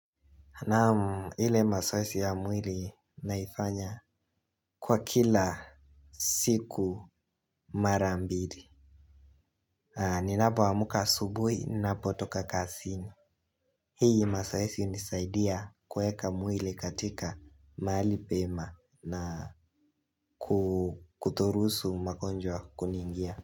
Naam hile masoesi ya mwili naifanya kwa kila siku mara mbili. Ninapoamuka asubui napotoka kasini. Hii masoesi unisaidia kueka mwili katika maali pema na kutorusu magonjwa kuniingia.